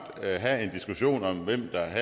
at have en diskussion om hvem der